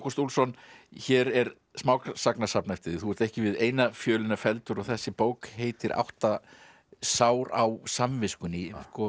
Úlfsson hér er smásagnasafn eftir þig þú ert ekki við eina fjölina felldur og þessi bók heitir átta sár á samviskunni